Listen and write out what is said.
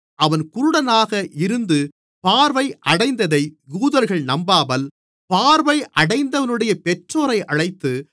அவன் குருடனாக இருந்து பார்வை அடைந்ததை யூதர்கள் நம்பாமல் பார்வை அடைந்தவனுடைய பெற்றோரை அழைத்து